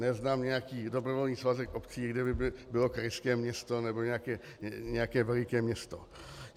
Neznám nějaký dobrovolný svazek obcí, kde by bylo krajské město nebo nějaké veliké město.